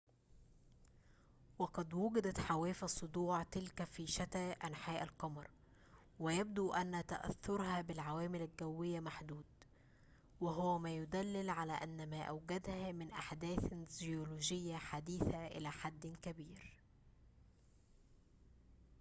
وقد وجدت حواف الصدوع تلك في شتى أنحاء القمر ويبدو أن تأثرها بالعوامل الجوية محدود وهو ما يدلل على أن ما أوجدها من أحداثٍ جيولوجية حديثة إلى حد كبير